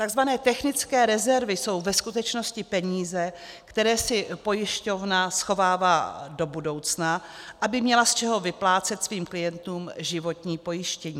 Takzvané technické rezervy jsou ve skutečnosti peníze, které si pojišťovna schovává do budoucna, aby měla z čeho vyplácet svým klientům životní pojištění.